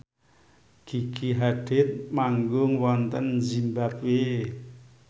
Gigi Hadid manggung wonten zimbabwe